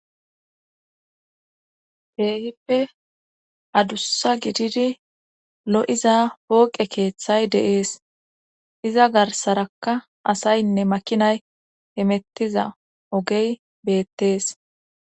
Keehippe adussa gididi lo'iza pooqe keeththay deees iza garsaraka asaynne makinay emettiza ogey beettees.